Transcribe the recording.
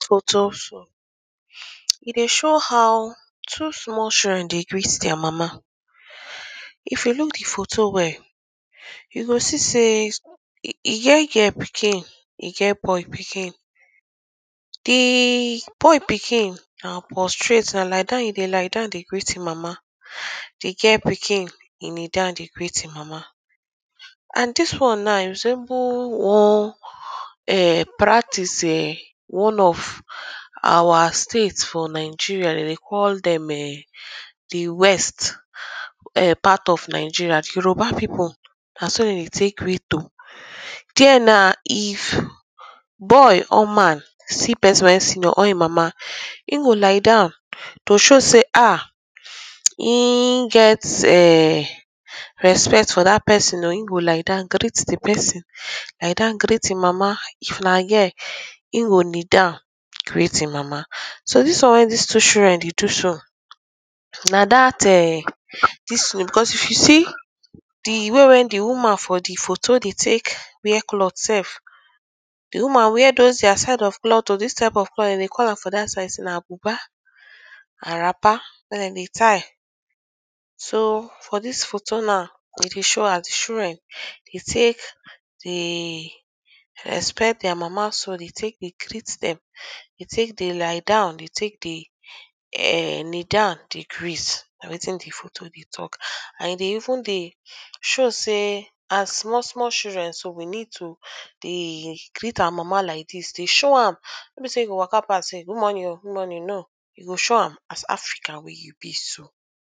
For dis photo so, e dey show how two small children dey greet their Mama. If you look de photo well, you go see sey, e get girl pikin, e get boy pikin. De boy pikin na prostrate, na lie down e dey lie down dey greet him Mama, de girl pikin, e kneel down de greet him Mama and dis one now, e resemble one um practice um one of our state for Nigeria dem de call dem um de west um part of Nigeria, Yoruba people, na so dem dey take greet oo, there na if boy or man see person wey him senior or him Mama, him go lie down to show sey ah, him get um respect for dat person oo, him go lie down greet de person,, lie down greet him Mama, if na girl, him go kneel down greet him Mama. So dis one wey dis two children dey do so, na dat ehm dis thing because if you see de way wey de woman for de photo dey take wear cloth sef, de woman wear those their type of cloth, dis type of cloth dem dey call am for dat side sey na buba and wrapper wey dem dey tie. So for dis photo now, e dey show as de children dey take dey respect their Mama so dey take dey greet dem, dey take dey lie down, de take de um kneel down dey greet, na wetin de photo dey talk and e dey even de show sey as small small children so, we need to de greet our Mama like dis, dey show am, no be sey you go waka pass dey say, good morning oo, good morning, no, you go show am, as African wey you be so.